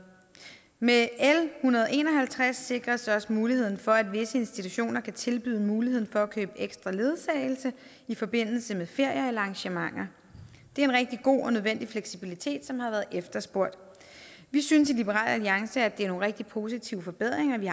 med l en hundrede og en og halvtreds sikres også muligheden for at visse institutioner kan tilbyde muligheden for at købe ekstra ledsagelse i forbindelse med ferier eller arrangementer det er en rigtig god og nødvendig fleksibilitet som har været efterspurgt vi synes i liberal alliance at det er nogle rigtige positive forbedringer i